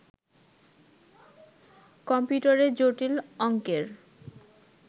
কম্পিউটারে জটিল অংকের